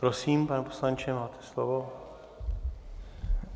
Prosím, pane poslanče, máte slovo.